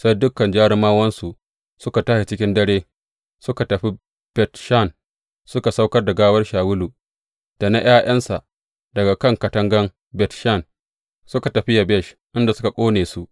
Sai dukan jarumawansu suka tashi cikin dare suka tafi Bet Shan suka saukar da gawar Shawulu da na ’ya’yansa daga kan katangan Bet Shan suka tafi Yabesh inda suka ƙone su.